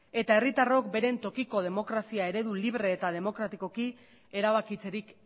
eta herritarrok bere tokiko demokrazia eredu libre eta demokratikoki erabakitzerik